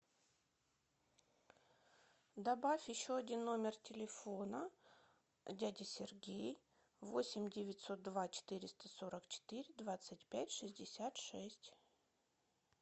добавь еще один номер телефона дядя сергей восемь девятьсот два четыреста сорок четыре двадцать пять шестьдесят шесть